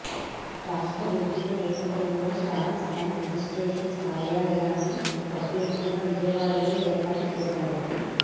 రాష్ట్ర విభజన నేపథ్యంలో స్టాంప్స్ అండ్ రిజిస్ట్రేషన్స్ కార్యాలయాన్ని ప్రత్యేకంగా విజయవాడలో ఏర్పాటు చేశారు